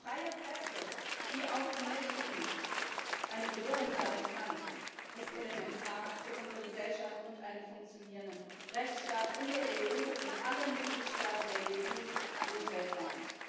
Eine freie Presse, die auch den Mächtigen eine Bedrohung sein kann, ist elementar für unsere Gesellschaft und einen funktionierenden Rechtsstaat in allen Mitgliedstaaten der EU und weltweit.